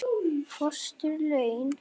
Föst laun